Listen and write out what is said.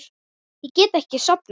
Ég get ekki sofnað.